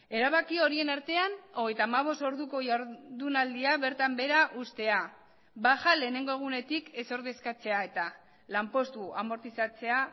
erabaki horien artean hogeita hamabost orduko jardunaldia bertan behera uztea baja lehenengo egunetik ez ordezkatzea eta lanpostua amortizatzea